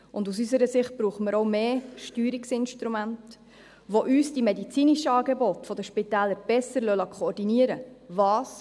Und aus unserer Sicht brauchen wir auch mehr Steuerungsinstrumente, die uns die medizinischen Angebote der Spitäler besser koordinieren lassen.